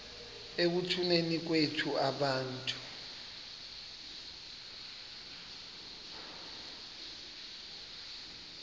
ekutuneni kwethu abantu